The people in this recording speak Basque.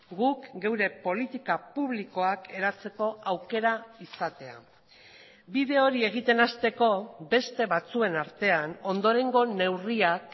guk geure politika publikoak eratzeko aukera izatea bide hori egiten hasteko beste batzuen artean ondorengo neurriak